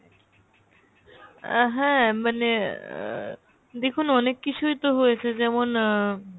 আহ হ্যাঁ মানে আ দেখুন অনেক কিছুই তো হয়েছে যেমন আহ